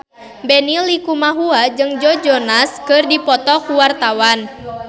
Benny Likumahua jeung Joe Jonas keur dipoto ku wartawan